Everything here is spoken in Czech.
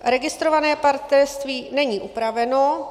Registrované partnerství - není upraveno;